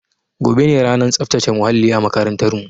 Gobe ne ranar tsaftace muhalli a makarantar mu